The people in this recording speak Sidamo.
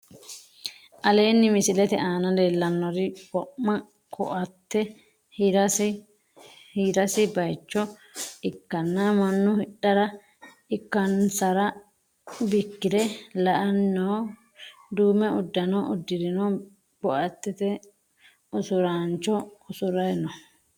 Aleenni misilete aana leellannori wo'ma kooaatte hiirranni baayicho ikkanna mannu hidhara ikkaansaro bikkire la"ay no. Duume uddano uddirinohu kooaattete usuraancho usuray no.